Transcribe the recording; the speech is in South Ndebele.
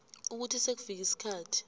ukuthi sekufike isikhathi